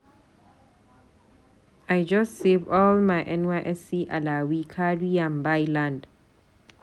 I just save all my NYSC alawee carry am buy land.